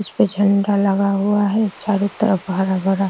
इस पे झंडा लगा हुआ है चारों तरफ बड़ा-बड़ा --